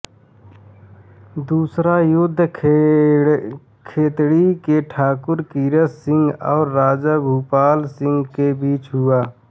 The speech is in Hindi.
दूसरा युद्ध खेतड़ी के ठाकुर कीरत सिंह और राजा भूपाल सिंह के बीच हुआ